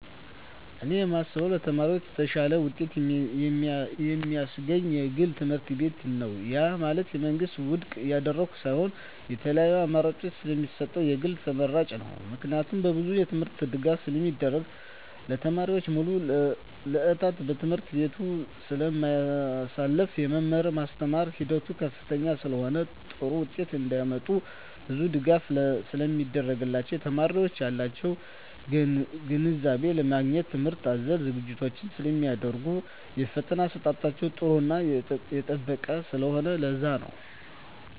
እኔ የማስበው ለተማሪዎች የተሻለ ውጤት የማስገኝ የግል ትምህርትቤት ነው ያ ማለት የመንግስትን ውድቅ እያደረኩ ሳይሆን የተለያዪ አማራጭ ስለሚሰጠን የግል ተመራጭ ነው። ምክንያቱም በብዙ የትምህርት ድጋፍ ስለሚደረግ , ተማሪዎች ሙሉ ስዕታቸውን በትምህርት ቤቱ ስለማሳልፋ , የመማር ማስተማር ሂደቱ ከፍተኛ ስለሆነ ጥሩ ውጤት እንዳመጡ ብዙ ድጋፍ ስለሚደረግላቸው , የተማሪዎች ያላቸውን ግንዛቤ ለማግኘት ትምህርት አዘል ዝግጅቶች ስለሚደረጉ የፈተና አሰጣጣቸው ጥራቱን የጠበቀ ስለሆነ ለዛ ነው